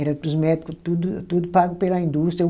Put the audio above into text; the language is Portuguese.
Era para os médico tudo tudo pago pela indústria.